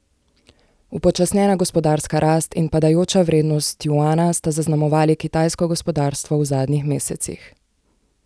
Upočasnjena gospodarska rast in padajoča vrednost juana sta zaznamovali kitajsko gospodarstvo v zadnjih mesecih.